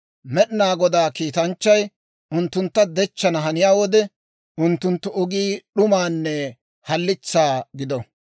Med'inaa Goda kiitanchchay, unttuntta dechchana haniyaa wode, unttunttu ogii d'umaanne halitsaa gido.